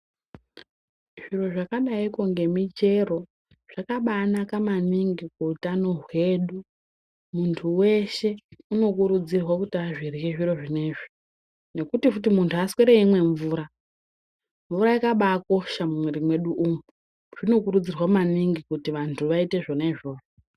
Zviro zvakadaiko ngemichero zvakabaanaka maningi kuutano hwedu. Muntu weshe unokurudzirwe kuti azvirye zviro zvinezvi, nekuti futi muntu aswere eimwe mvura. Mvura yakabaakosha mumwiri mwedu umu. Zvinokurudzirwa maningi kuti vantu vaite izvona izvozvo.